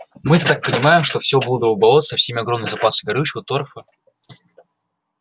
мы это так понимаем что все блудово болото со всеми огромными запасами горючего торфа